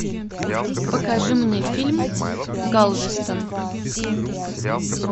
покажи мне фильм галвестон